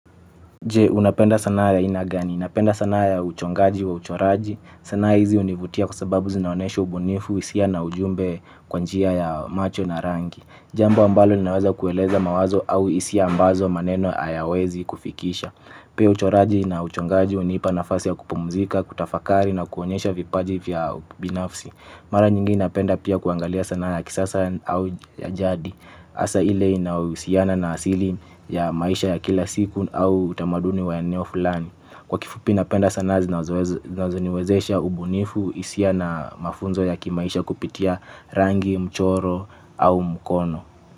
Je unapenda sanaa ya ainagani, napenda sanaa ya uchongaji wa uchoraji, sanaa hizi univutia kwasababu zinaonesha ubunifu, hisia na ujumbe kwanjia ya macho na rangi. Jambo ambalo linaweza kueleza mawazo au hisia ambazo maneno hayawezi kufikisha. Pia uchoraji na uchongaji hunipa nafasi ya kupumzika, kutafakari na kuonyesha vipaji vya binafsi. Mara nyingi napenda pia kuangalia sana ya kisasa au ya jadi asa ile inayo husiana na asili ya maisha ya kila siku au utamaduni wa eneo fulani. Kwa kifupi napenda sana zinazoniwezesha ubunifu hisia na mafunzo ya kimaisha kupitia rangi mchoro au mkono.